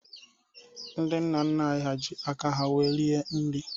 Ndị nna nna anyị ji aka ha wéé rie nri